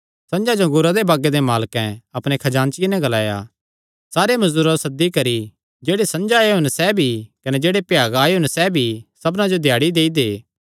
संझा जो अंगूरा दे बागे दे मालकैं अपणे खजानचिये नैं ग्लाया सारे मजदूरां जो सद्दी करी जेह्ड़े संझा आएयो सैह़ भी कने जेह्ड़े भ्यागा आएयो सैह़ भी सबना जो दिहाड़ी देई दे